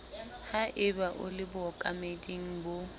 haeba o le bookameding bo